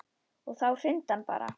Og þá hrundi hann bara.